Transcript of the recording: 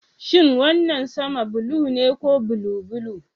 Shin wannan sama blue ne ko blue blue?